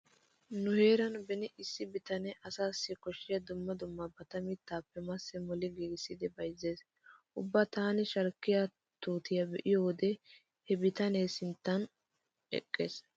Nu heeran beni issi bitane asaassi koshshiya dumma dummabata mittaappe massi moli giigissidi bayzzees. Ubba taani shalkkiya tuutiya be'iyode he bitanee sinttan eqqees.